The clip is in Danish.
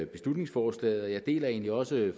beslutningsforslaget og jeg deler egentlig også